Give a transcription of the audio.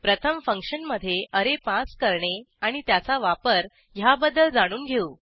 प्रथम फंक्शनमधे array pass करणे आणि त्याचा वापर ह्याबद्दल जाणून घेऊ